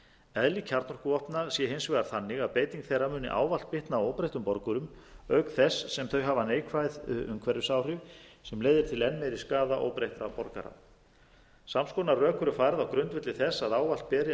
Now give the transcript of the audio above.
eðli kjarnorkuvopna sé hins vegar þannig að beiting þeirra muni ávallt bitna á óbreyttum borgurum auk þess sem þau hafa neikvæð umhverfisáhrif sem leiðir til enn meiri skaða óbreyttra borgara sams konar rök eru færð á grundvelli þess að ávallt beri að virða hlutlaus